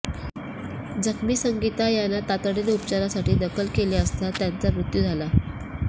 जखमी संगीता यांना तातडीने उपचारासाठी दाखल केले असता त्यांचा मृत्यू झाला